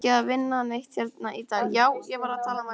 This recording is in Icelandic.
Á ekki að vinna neitt hérna í dag?